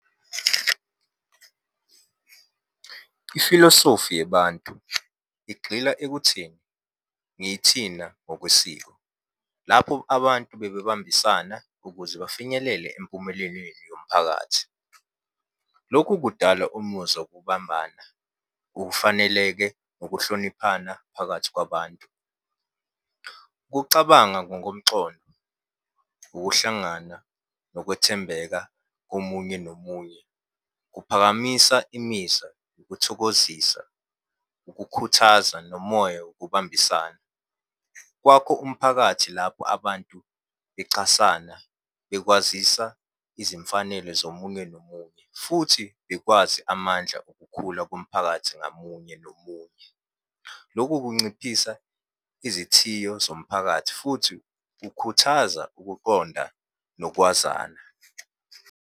Ifilosofi yabantu, igxila ekutheni ngithina ngokwesiko. Lapho abantu bebebambisana ukuze bafinyelele empumelelweni yomphakathi. Lokhu kudala umuzwa wokubambana, ukufaneleke, nokuhloniphana phakathi kwabantu. Ukucabanga ngokomxondo, ukuhlangana, nokwethembeka komunye nomunye. Kuphakamisa imiza, ukuthokozisa, ukukhuthaza, nomoya wokubambisana. Kwakho umphakathi lapho abantu bechasana, bekwazisa izimfanelo zomunye nomunye, futhi bekwazi amandla okukhula komphakathi ngamunye nomunye. Loku kunciphisa izithiyo zomphakathi, futhi kukhuthaza ukuqonda nokwazana.